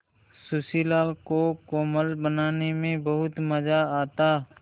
सुशीला को कोलम बनाने में बहुत मज़ा आता